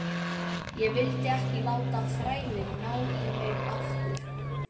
Ég vildi ekki láta þrælinn ná í mig aftur.